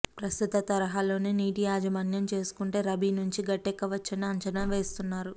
ప్రస్తుత తరహాలోనే నీటి యాజమాన్యం చేసుకుంటే రబీ నుంచి గట్టెక్కవచ్చని అంచనా వేస్తున్నారు